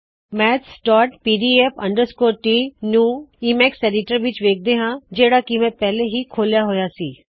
maths PDF ਟੀ mathspdf ਟ ਨੂੰ ਈਮੈਕਸ ਐਡਿਟਰ ਵਿੱਚ ਵੇਖਦੇ ਹਾ ਜਿਹੜਾ ਕਿ ਮੈ ਪਹਿਲੇ ਹੀ ਖੋਲਿਆ ਹੋਇਆ ਸੀ